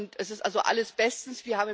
Es ist also alles bestens.